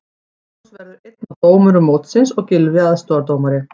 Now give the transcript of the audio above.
Magnús verður einn af dómurum mótsins og Gylfi aðstoðardómari.